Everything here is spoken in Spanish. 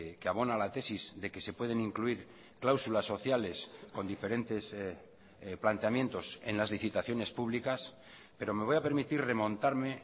que abona la tesis de que se pueden incluir cláusulas sociales con diferentes planteamientos en las licitaciones públicas pero me voy a permitir remontarme